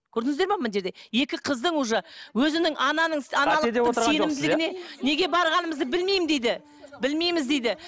көрдіңіздер ме мына жерде екі қыздың уже өзінің ананың аналық сенімділігіне неге барғанымызды білмеймін дейді білмейміз дейді